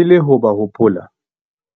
E le ho ba hopola,